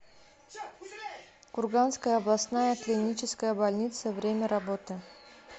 курганская областная клиническая больница время работы